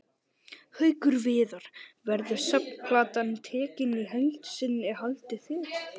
Haukur Viðar: Verður safnplatan tekin í heild sinni haldið þið?